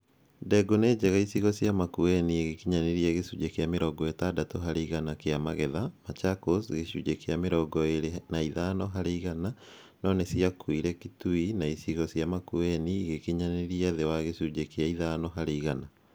Ndengũ nĩ njega icigo cia Makueni igĩkinyanĩria gĩcunjĩ kĩa mĩrongo ĩtandatũ harĩ igana kĩa magetha, Machakos, gĩcunjĩ kĩa mĩrongo ĩrĩ na ithano harĩ igana no nĩciakuire Kituo na icigo cia Makueni igĩkinyanĩria thĩ wa gĩcunjĩ kĩa ithano harĩ igana